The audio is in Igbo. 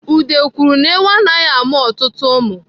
Ude kwuru na ewu ya anaghị amụ ọtụtụ ụmụ.